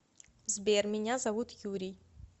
сбер меня зовут юрий